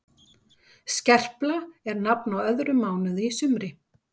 Skerpla er nafn á öðrum mánuði í sumri.